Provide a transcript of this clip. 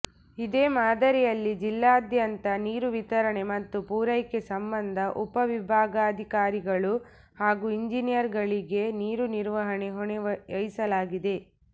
ಇದೇ ಮಾದರಿಯಲ್ಲಿ ಜಿಲ್ಲೆಯಾದ್ಯಂತ ನೀರು ವಿತರಣೆ ಮತ್ತು ಪೂರೈಕೆ ಸಂಬಂಧ ಉಪವಿಭಾಗಾಧಿಕಾರಿಗಳು ಹಾಗೂ ಇಂಜಿನಿಯರ್ಗಳಿಗೆ ನೀರು ನಿರ್ವಹಣೆ ಹೊಣೆ ವಹಿಸಲಾಗಿದೆ